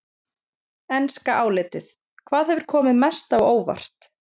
Enska álitið: Hvað hefur komið mest á óvart?